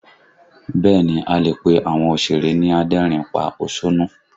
Bẹ́ẹ̀ ni, a lè pe àwọn òsèré ni adẹ́rìn ín pa òṣónú